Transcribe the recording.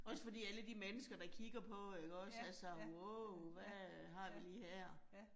Også fordi alle de mennesker, der kigger på ikke også altså wow, hvad øh har vi lige her